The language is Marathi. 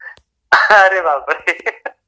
अरे बापरे.